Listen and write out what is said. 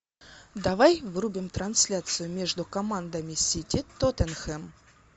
давай врубим трансляцию между командами сити тоттенхэм